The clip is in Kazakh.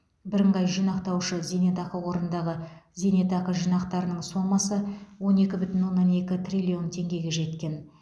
бірыңғай жинақтаушы зейнетақы қорындағы зейнетақы жинақтарының сомасы он екі бүтін оннан екі триллион теңгеге жеткен